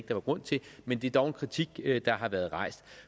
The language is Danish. der var grund til men det er dog en kritik der har været rejst